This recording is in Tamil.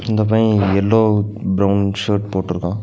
இந்த பைய எல்லோ பிரவுன் ஷர்ட் போட்ருக்கா.